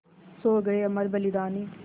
सो गये अमर बलिदानी